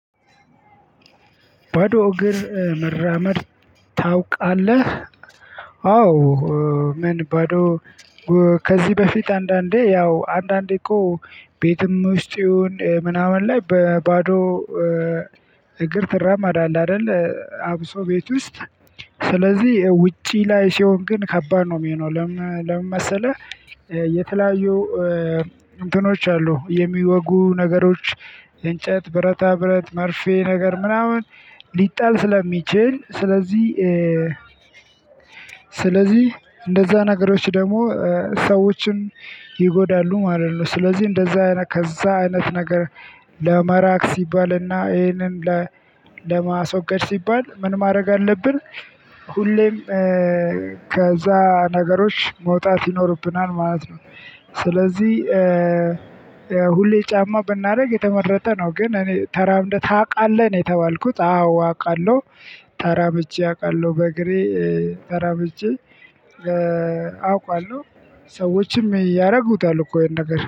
ባዶ እግር መራመድ ታውቃለህ አዎ። ምን? ባዶ ከዚህ በፊት አንዳንዴ ያው አንዳንዴ እኮ ቤትም ውስጥ ይሁን ምናምን ላይ በባዶ እግር ትራመዳለህ አይደል? አብሶ ቤት ውስጥ። ስለዚህ ውጪ ላይ ሲሆን ግን ከባድ ነው የሚሆነው ለምን መሰለህ? የተለያዩ እንትኖች አሉ የሚወጉ ነገሮች። እንጨት ብረታ ብረት መርፌ ነገር ምናምን ሊጣል ስለሚችል ስለዚህ። ስለዚህ እንደዛ ነገሮች ደግሞ ሰዎችን ይጎዳሉ ማለት ነው። ስለዚህ እንደዛ አይነት ከዛ አይነት ነገር ለመራቅ ሲባልና ይሄንን ለማስወገድ ሲባል ምን ማድረግ አለብን? ሁሌም ከዛ ነገሮች መውጣት ይኖርብናል ማለት ነው። ስለዚህ ሁሌ ጫማ ብናደርግ የተመረጠ ነው። ግን እኔ ተራምደህ ታውቃለህ ነው የተባልኩት? አዎ አውቃለሁ ተራምጄ አውቃለሁ በእግሬ ተራምጄ አውቃለሁ። ሰዎችም ያደርጉታል እኮ ይሄን ነገር